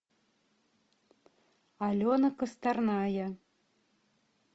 алена косторная